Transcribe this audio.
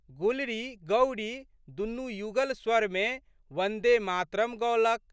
गुलरीगौरी दुनू युगल स्वरमे वन्दे मातरम् गओलक।